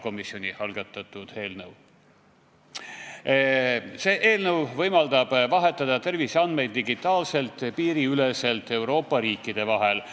Selle eelnõu eesmärk on võimaldada vahetada terviseandmeid digitaalselt Euroopa riikide vahel.